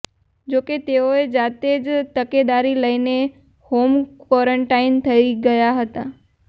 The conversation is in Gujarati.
જોકે તેઓએ જાતે જ તકેદારી લઈને હોમ ક્વોરોન્ટીન થઇ ગયા હતા